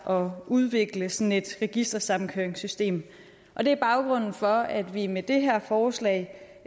og udvikle sådan et registersammenkøringssystem og det er baggrunden for at vi med det her forslag